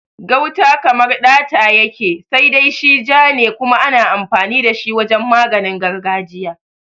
Gauta kamar ɗata yake, sai dai shi ja ne kuma ana amfani da shi wajen maganin gargajiya.